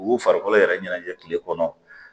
U y'u farikolo yɛrɛ ɲɛnajɛ tile kɔnɔ